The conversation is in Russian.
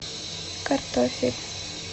картофель